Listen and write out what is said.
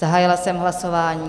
Zahájila jsem hlasování.